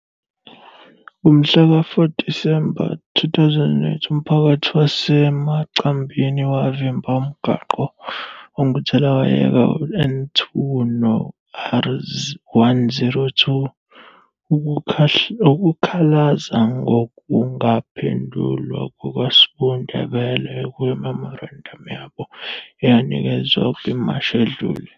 "Ngomhlaka 4 Disemba 2008, umphakathi waseMacambini wavimba umgwaqo onguthelawayeka u-N2 no-R102 ukukhalaza ngokungaphendulwa kukaS'bu Ndebele kwimemorandamu yabo eyanikezwa kwimashi edlule.